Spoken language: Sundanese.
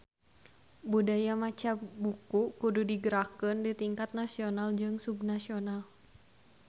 Budaya maca buku kudu digerakkeun di tingkat nasional jeung subnasional